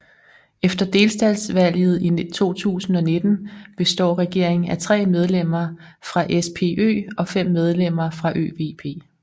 Efter delstatsvalget i 2019 består regeringen af 3 medlemmer fra SPÖ og 5 medlemmer fra ÖVP